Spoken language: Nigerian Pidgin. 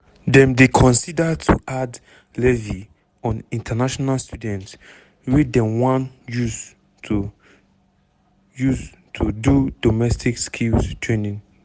dem dey consider to add levy on international students wey dem wan use to use to do domestic skills training.